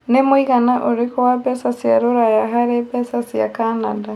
Nĩ mũigana ũrikũ wa mbeca cia rũraya harĩ mbeca cĩa Canada